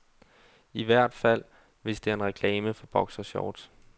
I hvert fald, hvis det er en reklame for boxershorts.